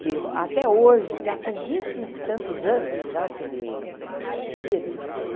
que até hoje está com vinte e tantos anos, já que ele é vendido.